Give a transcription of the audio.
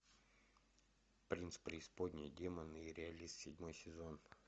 принц преисподней демоны и реалист седьмой сезон